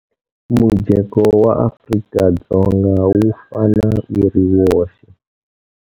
Mujeko wa Afrika-Dzonga wu fana wu ri woxe.